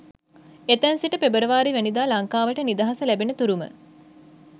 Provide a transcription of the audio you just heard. එතැන් සිට පෙබරවාරි වැනිදා ලංකාවට නිදහස ලැබෙන තුරුම